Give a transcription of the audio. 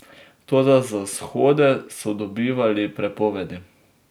Toda za shode so dobivali prepovedi.